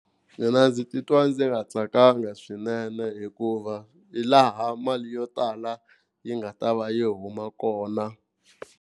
Mina ndzi titwa ndzi nga tsakanga swinene hikuva hilaha mali yo tala yi nga ta va yi huma kona.